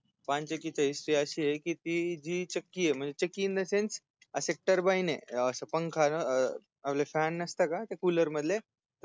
पानचक्कीची HISTRY अशीय आहे की ती जी चक्की म्हणजे अस TURBINE य जस पंखा अं आपल FAN नसतं का COOLER मधल हा तस TURBINE त्या TURBINE मध्ये पानी येत